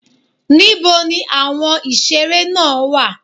Níboni àwọn ìseré náà wà?